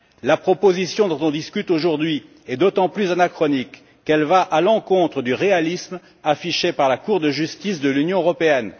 La proposition dont on discute aujourd'hui est d'autant plus anachronique qu'elle va à l'encontre du réalisme affiché par la Cour de justice de l'Union européenne.